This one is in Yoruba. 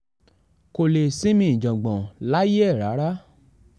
kò lè sinmi ìjàngbọ̀n láyé ẹ̀ rárá